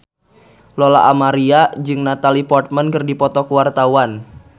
Lola Amaria jeung Natalie Portman keur dipoto ku wartawan